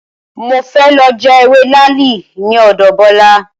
Mo fẹ́ lọ já ewé làálì ní ọ̀dọ̀ Bọ́lá